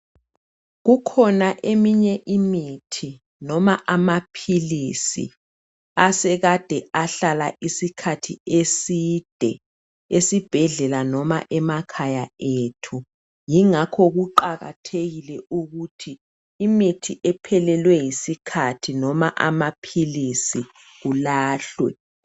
Kukhona eminye imithi noma amaphilisi asekade ahlala isikhathi eside esibhedlela noma emakhaya ethu yingakho kuqakathekile ukuthi imithi ephelelwe yisikhathi noma amaphilisi kulahlwe.